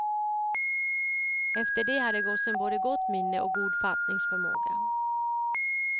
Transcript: Efter det hade gossen både gott minne och god fattningsförmåga.